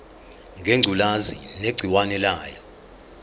ngengculazi negciwane layo